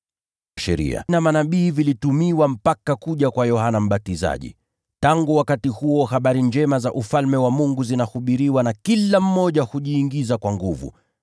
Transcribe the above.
“Sheria na Manabii vilihubiriwa mpaka kuja kwa Yohana Mbatizaji. Tangu wakati huo habari njema za Ufalme wa Mungu zinahubiriwa, na kila mmoja hujiingiza kwa nguvu.